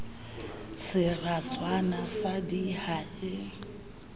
seratswana sa d ha e